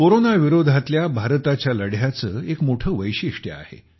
corona विरोधातल्या भारताच्या लढ्याचे एक मोठे वैशिष्ट्य आहे